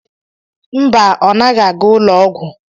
Mba, ọ naghị aga ụlọ ọgwụ.